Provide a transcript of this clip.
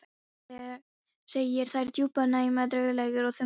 Segir þær djúpar, næmar, draugalegar og þungar.